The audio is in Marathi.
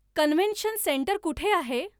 कन्वेन्शन सेंटर कुठे आहे